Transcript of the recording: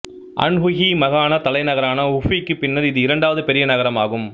Anhui மாகாண தலைநகரான ஹீஃபிக்குப் பின்னர் இது இரண்டாவது பெரிய நகரம் ஆகும்